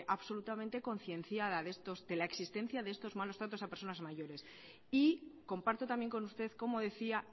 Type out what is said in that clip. absolutamente concienciada de la existencia de estos malos tratos a personas mayores y comparto también con usted cómo decía